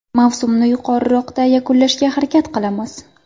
Mavsumni yuqoriroqda yakunlashga harakat qilamiz.